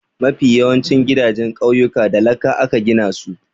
Mafi yawancin gidajen ƙauyuka da laka aka gina su.